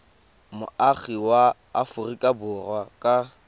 moagi wa aforika borwa ka